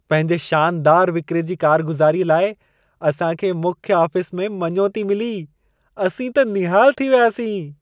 पंहिंजे शानदारु विक्रे जी कारगुज़ारीअ लाइ असां खे मुख्य आफ़िस में मञोती मिली। असीं त निहालु थी वियासीं।